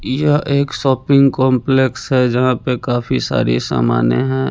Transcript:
यह एक shopping complex है जहाँ पे काफी सारी सामाने हैं।